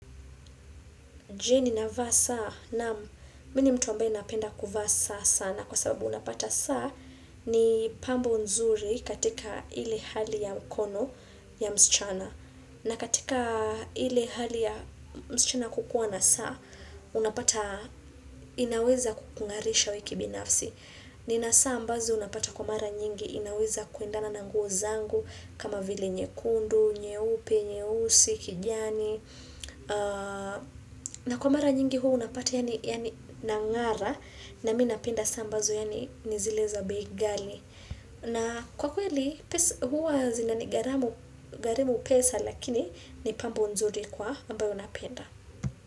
Je ni navaa saa naam mini mtu ambaye napenda kuvaa saa sana kwa sababu unapata saa ni pambo nzuri katika ile hali ya mkono ya msichana. Na katika ile hali ya msichana kukuwa na saa, unapata inaweza kukungarisha wee ki binafsi. Ni na saa ambazo unapata kwa mara nyingi inaweza kuendana na nguo zangu kama vile nye kundu, nye upe, nye usi, kijani. Na kwa mara nyingi huwa unapata yaani yaani na ngara na minapenda saa ambazo yaani nizile za bei ghali na kwa kweli huwa zinani garamu garimu pesa lakini ni pambo nzuri kwa ambayo napenda.